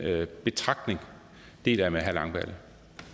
betragtning deler jeg med herre christian langballe